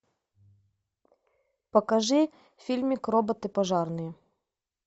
покажи фильмик роботы пожарные